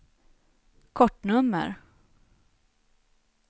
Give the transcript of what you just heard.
kortnummer